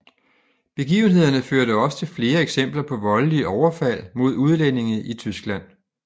Begivenhederne førte også til flere eksempler på voldelige overfald mod udlændinge i Tyskland